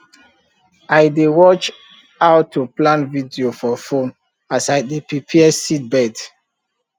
i dey watch how to plant video for phone as i dey prepare seedbed